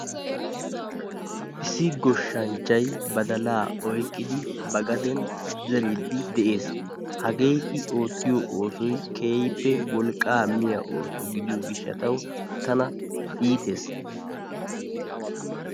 Issi goshshanchchay badalaa oyqqidi ba gaden zeriiddi de'ees. Hagee I oottiyo oosoy keehippe wolqqaa miya ooso gidiyo gishshatawu tana iitees.